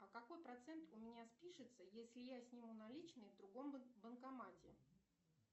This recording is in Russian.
а какой процент у меня спишется если я сниму наличные в другом банкомате